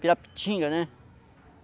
Pirapitinga, né?